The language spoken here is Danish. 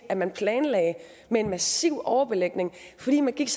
at man planlagde med en massiv overbelægning fordi man gik